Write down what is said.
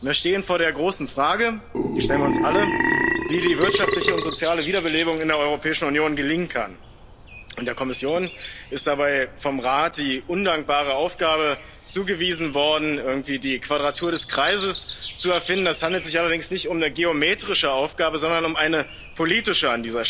werden. Wir stehen vor der großen Frage die stellen wir uns alle wie die wirtschaftliche und soziale Wiederbelebung in der Europäischen Union gelingen kann. Der Kommission ist dabei vom Rat die undankbare Aufgabe zugewiesen worden, irgendwie die Quadratur des Kreises zu erfinden. Es handelt sich allerdings an dieser Stelle nicht um eine geometrische Aufgabe, sondern um